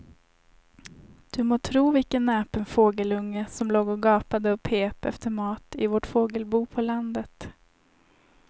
Du må tro vilken näpen fågelunge som låg och gapade och pep efter mat i vårt fågelbo på landet.